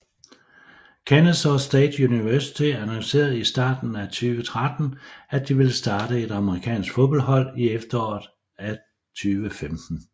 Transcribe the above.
Kennesaw State University annoncerede i starten af 2013 at de ville starte et amerikanske fodboldhold i efteråret af 2015